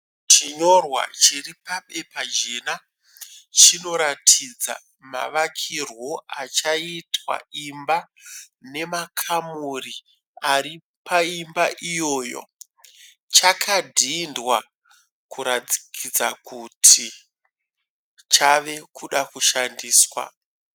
Chinyorwa chiri pabepa jena chinoratidza mavakirwo achaitwa imba nemakamuri ari paimba iyoyo. chakadhidhwa kuratidza ktui chave kuda kushandiswa.